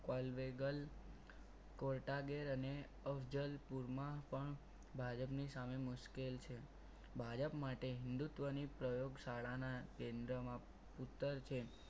પલવેગલ કોટા ગેર અને અફઝલપુરમાં પણ ભાજપની સામે મુશ્કેલ છે ભાજપ માટે હિન્દુત્વની પ્રયોગ શાળાના કેન્દ્રમાં ઉત્તર છે.